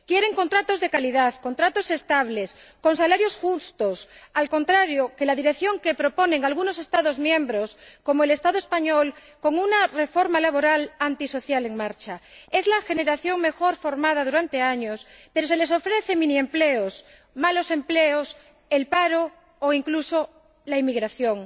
Quieren contratos de calidad, contratos estables, con salarios justos, lo contrario que la dirección que proponen algunos Estados miembros, como el Estado español, con un reforma laboral antisocial en marcha. Es la generación mejor formada durante años, pero se les ofrece miniempleos, malos empleos, el paro o incluso la emigración.